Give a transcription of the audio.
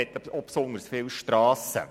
Er hat auch besonders viele Strassen.